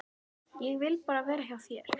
Ég vil bara vera hjá þér.